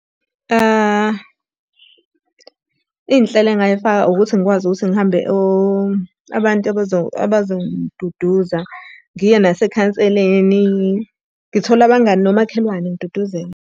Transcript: Iy'nhlelo engingayifaka ukuthi ngikwazi ukuthi ngihambe abantu abazo abazo abazongiduduza, ngiye nasekhanseleni. Ngithole abangani nomakhelwane ngiduduzeke.